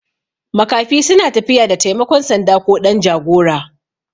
Makafi suna tafiya da taimakon sanda ko ɗan jagora